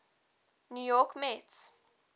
new york mets